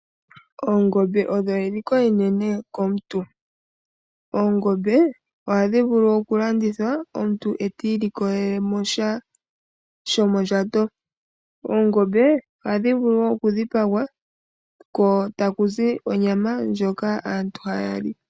Oongombe odho eliko enene komuntu. Oongombe ohadhi vulu okulandithwa omuntu eta ilikolele mo sha shomondjato. Oongombe ohadhi vulu wo okudhipaga ko taku zi onyama ndjoka aantu haya li.